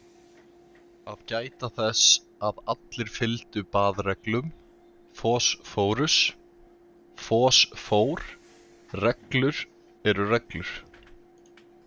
Að gæta þess að allir fylgdu baðreglum, phosphorus - fosfór: Reglur eru reglur.